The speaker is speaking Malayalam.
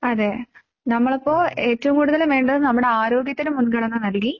അതേ നമ്മൾ അപ്പോൾ ഏറ്റവും കൂടുതല് വേണ്ടത് നമ്മുടെ ആരോഗ്യത്തിന് മുൻഗണന നൽകി